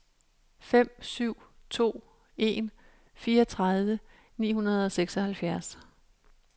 fem syv to en fireogtredive ni hundrede og seksoghalvfjerds